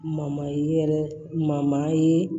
yɛrɛ ma ye